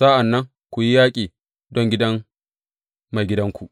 Sa’an nan ku yi yaƙi don gidan maigidanku.